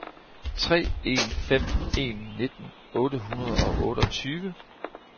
tre en fem en nitten otte hundrede og otteogtyve